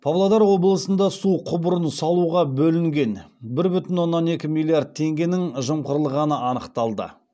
павлодар облысында су құбырын салуға бөлінген бір бүтін оннан екі миллиард теңгенің жымқырылғаны анықталды